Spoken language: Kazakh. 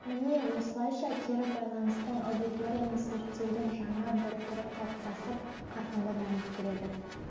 міне осылайша кері байланыстың аудиторияны зерттеудің жаңа бір түрі қалыптасып қарқынды дамып келеді